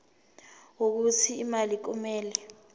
wokuthi imali kumele